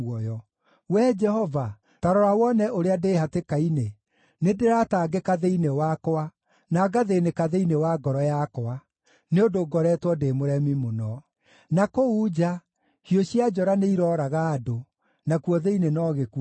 “Wee Jehova, ta rora wone ũrĩa ndĩ hatĩka-inĩ! Nĩndĩratangĩka thĩinĩ wakwa, na ngathĩĩnĩka thĩinĩ wa ngoro yakwa, nĩ ũndũ ngoretwo ndĩ mũremi mũno. Na kũu nja, hiũ cia njora nĩirooraga andũ, nakuo thĩinĩ no gĩkuũ kũrĩ.